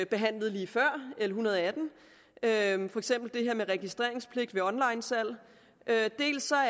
behandlede lige før l en hundrede og atten for eksempel det her med registreringspligt ved onlinesalg dels